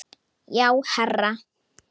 Já, herra